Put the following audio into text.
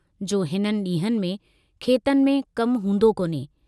जो हिननि डींहंनि में खेतनि में कम हूंदो कोन्हे।